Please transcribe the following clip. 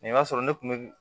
Nin b'a sɔrɔ ne kun bɛ